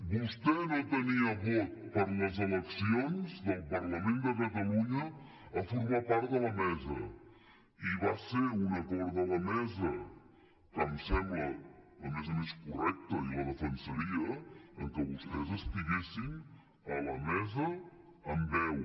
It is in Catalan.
vostè no tenia vot per les eleccions del parlament de catalunya a formar part de la mesa i va ser un acord de la mesa que em sembla a més a més correcte i el defensaria que vostès estiguessin a la mesa amb veu